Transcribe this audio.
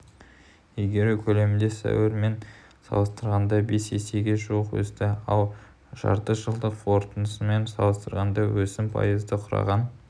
игеру көлемі сәуірмен салыстырғанда бес есеге жуық өсті ал жартыжылдықтың қорытындысымен салыстырғанда өсім пайызды құраған